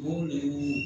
O de ye